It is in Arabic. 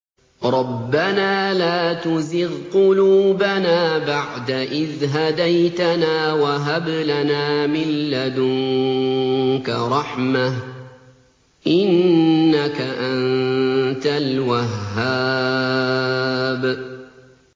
رَبَّنَا لَا تُزِغْ قُلُوبَنَا بَعْدَ إِذْ هَدَيْتَنَا وَهَبْ لَنَا مِن لَّدُنكَ رَحْمَةً ۚ إِنَّكَ أَنتَ الْوَهَّابُ